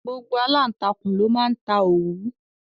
Gbogbo aláǹtakùn ló máa ń ta òwú.